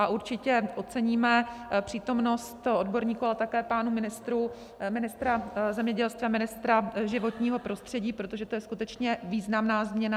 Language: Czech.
A určitě oceníme přítomnost odborníků a také pánů ministrů, ministra zemědělství a ministra životního prostředí, protože to je skutečně významná změna.